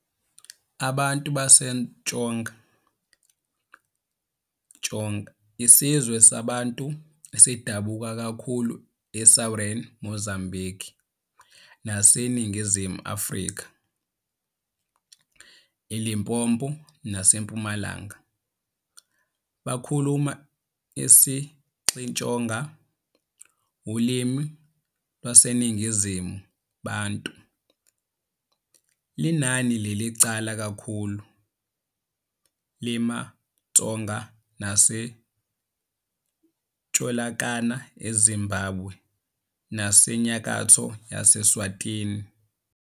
Abantu baseTsonga, Tsonga, Isizwe samaBantu esidabuka kakhulu eSouthern Mozambique naseNingizimu Afrika, eLimpopo naseMpumalanga. Bakhuluma isiXitsonga, ulimi lwaseNingizimu Bantu. Linani lelincane kakhulu lemaTsonga latfolakala eZimbabwe naseNyakatfo ye-Eswatini.